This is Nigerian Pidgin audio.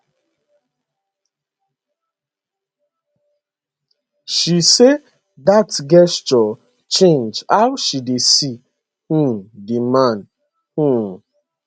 she say dat gesture change how she dey see um di man um